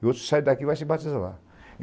E outro sai daqui e vai se batizar lá.